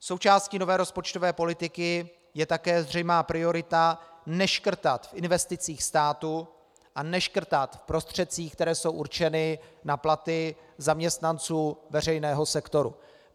Součástí nové rozpočtové politiky je také zřejmá priorita neškrtat v investicích státu a neškrtat v prostředcích, které jsou určeny na platy zaměstnanců veřejného sektoru.